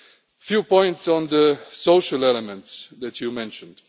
A few points on the social elements that you mentioned.